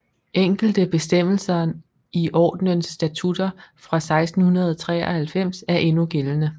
Enkelte bestemmelser i ordenens statutter fra 1693 er endnu gældende